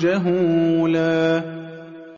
جَهُولًا